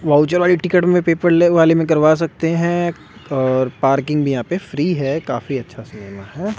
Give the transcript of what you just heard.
Voucher वाली ticket में paper वाले में करवा सकते हैं और पार्किंग भी यहां पे फ्री है काफी अच्छा है।